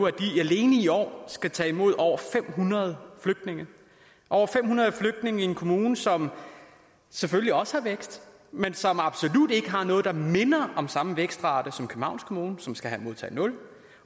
at de alene i år skal tage imod over fem hundrede flygtninge over fem hundrede flygtninge i en kommune som selvfølgelig også har vækst men som absolut ikke har noget der minder om samme vækstrate som københavns kommune som skal modtage nul